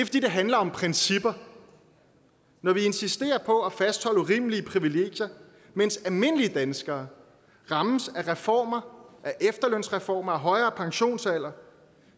handler om principper når man insisterer på at fastholde urimelige privilegier mens almindelige danskere rammes af reformer af efterlønsreformer af højere pensionsalder